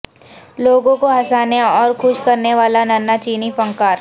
لوگوں کو ہنسانے اور خوش کرنے والاننھا چینی فنکار